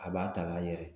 A b'a ta k'a yɛrɛ